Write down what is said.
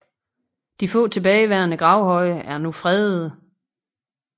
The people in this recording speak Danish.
De få tilbageværende gravhøje er nu fredede